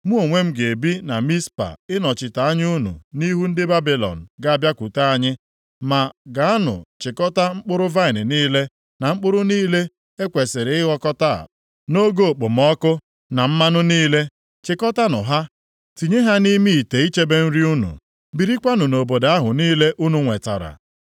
Mụ onwe m ga-ebi na Mizpa ịnọchite anya unu nʼihu ndị Babilọn ga-abịakwute anyị, ma gaanụ chịkọtaa mkpụrụ vaịnị niile, na mkpụrụ niile e kwesiri ịghọkọta nʼoge okpomọkụ, na mmanụ niile. Chikọtanụ ha tinye ha nʼime ite ichebe nri unu. Birikwanụ nʼobodo ahụ niile unu nwetara.”